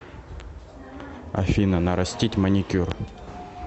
афина нарастить маникюр